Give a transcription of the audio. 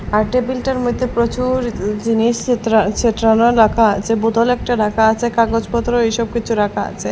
আর টেবিলটার মইদ্যে প্রচুর উ জিনিস ছেত্রা ছেত্রানো রাখা আছে বোতল একটা রাকা আছে কাগজপত্র ওইসব কিছু রাকা আছে।